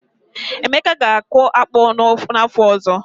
Emeka ga-akụ akpu n’afọ ọzọ.